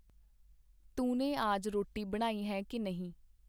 ਤੂਨੇ ਆਜ ਰੋਟੀ ਬਣਾਈ ਹੈ ਕੀ ਨਹੀਂ ?”.